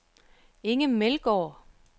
Inge Meldgaard